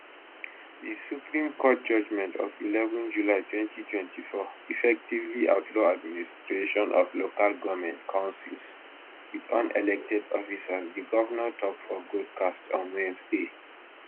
di supreme court judgment of eleven july 2024 effectively outlaw administration of local goment councils wit unelected officers di govnor tok for broadcast on wednesday